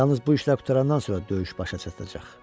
Yalnız bu işlər qurtarandan sonra döyüş başa çatacaq.